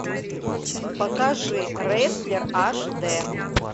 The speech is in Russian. покажи рестлер аш д